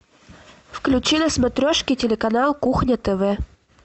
включи на смотрешке телеканал кухня тв